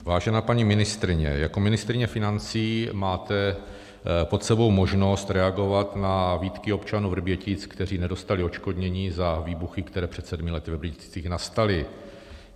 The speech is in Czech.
Vážená paní ministryně, jako ministryně financí máte pod sebou možnost reagovat na výtky občanů Vrbětic, kteří nedostali odškodnění za výbuchy, které před sedmi lety ve Vrběticích nastaly.